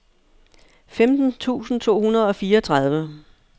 femten tusind to hundrede og fireogtredive